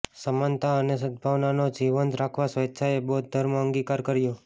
સમાનતા અને સદભાવનાને જીવંત રાખવા સ્વેચ્છાએ બૌદ્ધ ધર્મ અંગીકાર કર્યો